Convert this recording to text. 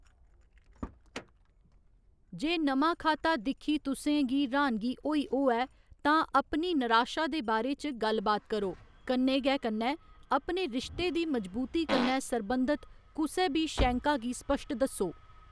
जे नमां खाता दिक्खी तुसें गी र्‌हानगी होई होऐ तां अपनी नराशा दे बारे च गल्ल बात करो, कन्नै गै कन्नै अपने रिश्ते दी मजबूती कन्नै सरबंधत कुसै बी शैंका गी स्पश्ट दस्सो।